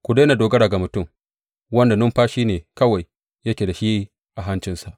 Ku daina dogara ga mutum, wanda numfashi ne kawai yake da shi a hancinsa.